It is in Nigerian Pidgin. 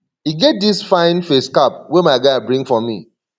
e get dis fine face cap wey my guy bring for me